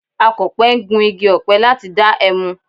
Akọ̀pẹ ń gun igi ọ̀pẹ láti dá ẹmu